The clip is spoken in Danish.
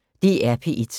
DR P1